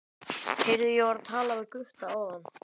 Heyrðu, ég var að tala við Gutta áðan.